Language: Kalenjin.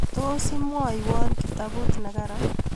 tos imwaiwo kitabut ne karan